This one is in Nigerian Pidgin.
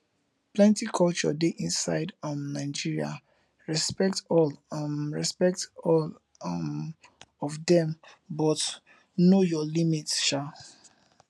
plenty culture de inside um nigeria respect all um respect all um of dem but know your limits um